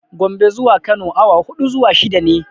Gombe zuwa Kano awa huɗu zuwa shida ne.